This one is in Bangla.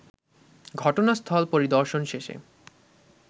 ঘটনাস্থল পরিদর্শন শেষে